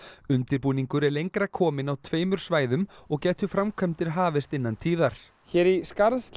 undirbúningur er lengra kominn á tveimur svæðum og gætu framkvæmdir hafist innan tíðar hér í Skarðshlíð